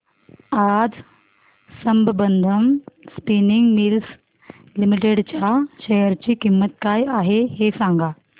आज Sambandam spinning mills limited च्या share ची किंमत काय आहे हे सांगा